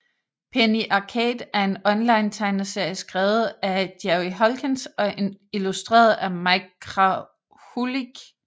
Penny Arcade er en onlinetegneserie skrevet af Jerry Holkins og illustreret af Mike Krahulik